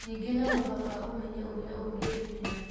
Ningĩ, no mũhaka ũmenye ũrĩa ũngĩĩgitĩra.